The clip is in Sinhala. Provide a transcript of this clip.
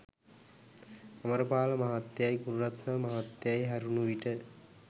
අමරපාල මහත්තයයි ගුණරත්න මහත්තයයි හැරුණු විට